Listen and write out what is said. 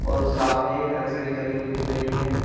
और सामने एक एल_सी_डी चली हुई दिख रही है।